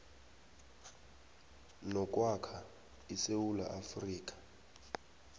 nokwakha isewula afrika